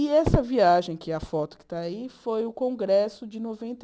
E essa viagem, que é a foto que está aí, foi o Congresso de noventa e oito